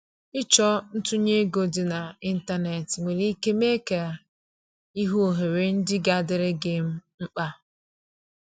Ịchọ ntunye ego dị na ịntanetị nwere ike mee ka i hụ ohere ndị ga adịrị gi um mkpa.